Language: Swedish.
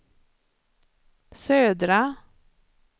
södra